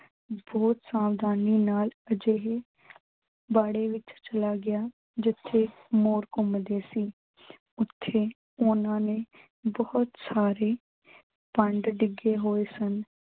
ਬਹੁਤ ਸਾਵਧਾਨੀ ਨਾਲ ਅਜਿਹੇ ਬਾੜੇ ਵਿੱਚ ਚਲਾ ਗਿਆ ਜਿੱਥੇ ਮੋਰ ਘੁੰਮਦੇ ਸੀ। ਉੱਥੇ ਉਨ੍ਹਾਂ ਨੇ ਬਹੁਤ ਸਾਰੇ ਭੰਡ ਡਿੱਗੇ ਹੋਏ ਸਨ।